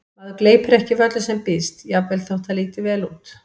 Maður gleypir ekki við öllu sem býðst, jafnvel þótt það líti vel út